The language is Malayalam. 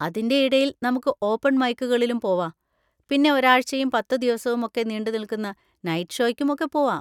അതിൻ്റെ ഇടയിൽ നമുക്ക് ഓപ്പൺ മൈക്കുകളിലും പോവാ, പിന്നെ ഒരാഴ്ചയും പത്തുദിവസവും ഒക്കെ നീണ്ടുനിൽക്കുന്ന നൈറ്റ് ഷോക്കും ഒക്കെ പോവാ.